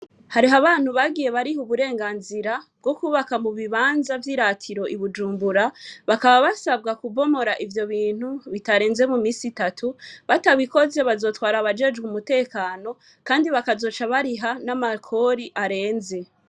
Hariho abantu bagiye bariha uburenganzira bwo kubaka mu bibanza vyiratiro i Bujumbura bakaba basabwa kubomora ivyo bintu bitarenze mu minsi itatu batabikoze bazotwara abajejwe umutekano kandi bakazoca bariha n'amakori arenze.